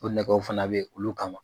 O nɛgɛw fana bɛ yen olu kama